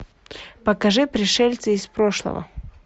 покажи пришельцы из прошлого